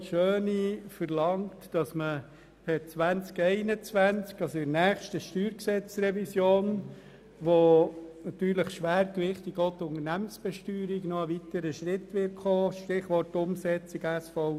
Die Motion Schöni-Affolter bezieht sich auf die nächste StG-Revision, die schwergewichtig einen weiteren Schritt im Bereich der Unternehmensbesteuerung beinhaltet.